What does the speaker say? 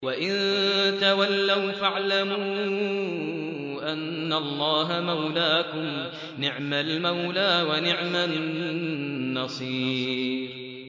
وَإِن تَوَلَّوْا فَاعْلَمُوا أَنَّ اللَّهَ مَوْلَاكُمْ ۚ نِعْمَ الْمَوْلَىٰ وَنِعْمَ النَّصِيرُ